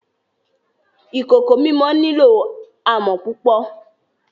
Ìkòkò mímọ̀ ní ilọ̀ àmọ̀ púpọ̀